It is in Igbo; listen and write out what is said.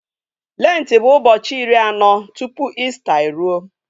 Lentị bụ ụbọchị iri anọ tupu Ista e ruo